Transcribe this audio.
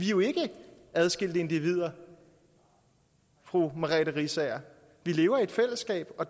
jo ikke adskilte individer fru merete riisager vi lever i et fællesskab og